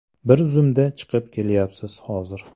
Bir zumda chiqib ketyapti hozir.